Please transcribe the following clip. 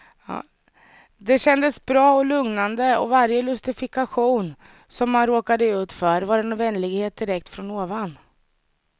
Det kändes bra och lugnande och varje lustifikation som man råkade ut för, var en vänlighet direkt från ovan.